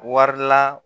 Wari la